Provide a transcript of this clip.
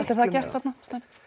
þér það gert þarna